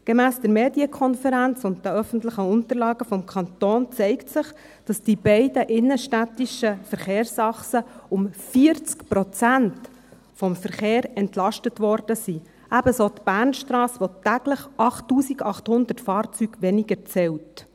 Gemäss der Medienkonferenz und den öffentlichen Unterlagen des Kantons zeigt sich, dass die beiden innenstädtischen Verkehrsachsen um 40 Prozent vom Verkehr entlastet wurden, ebenso die Bernstrasse, die täglich 8800 Fahrzeuge weniger zählt.